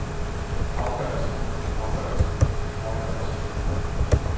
afgørelsen afgørelsen afgørelsen